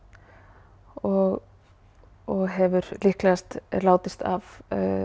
og og hefur líklegast látist af